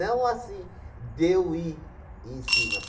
assim, deu e em cima.